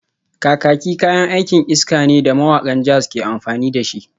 Kakaki kayan aikin iska ne da mawakan jazz ke amfani da shi